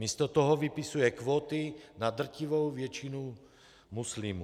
Místo toho vypisuje kvóty na drtivou většinu muslimů.